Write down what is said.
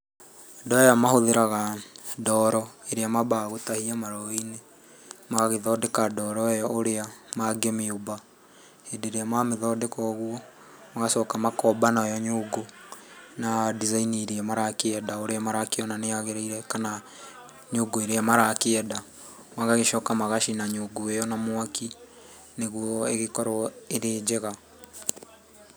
Andũ aya mahũthĩraga ndoro ĩrĩa mambaga gũtahia marũũĩ-inĩ. Magagĩthondeka ndoro ĩyo ũrĩa mangĩmĩumba. Hĩndĩ ĩrĩa mamĩthondeka ũguo, magacoka makomba nayo nyũngũ na design iria marakĩenda, ũrĩa marakĩona nĩyagĩrĩire, kana nyũngũ ĩrĩa marakĩenda. Magagĩcoka magacina nyungu ĩyo na mwaki, nĩguo igĩkorwo ĩrĩ njega.